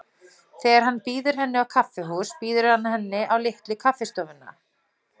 Þegar hann býður henni á kaffihús býður hann henni á Litlu kaffistofuna.